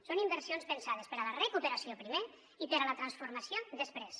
són inversions pensades per a la recuperació primer i per a la transformació després